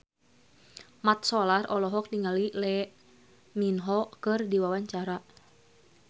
Mat Solar olohok ningali Lee Min Ho keur diwawancara